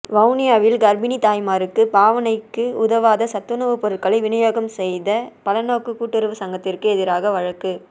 வவுனியாவில் கற்பிணித் தாய்மாருக்கு பாவனைக்கு உதவாத சத்துணவுப் பொருட்களை விநியோகம் செய்த பலநோக்கு கூட்டுறவுச் சங்கத்திற்கு எதிராக வழக்கு